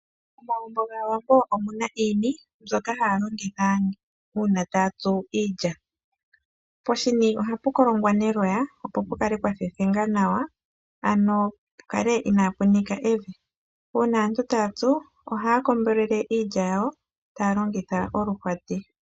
Momagumbo gaawambo omuna iini mbyoka haya longitha uuna taya tsu iilya, poshini ohapu kolongwa neloya opo pukale pwa thethenga nawa ano pukale ina pu nika evi, uuna aantu taya tsu ohaya kombelele iilya yawo taya longitha olwaati.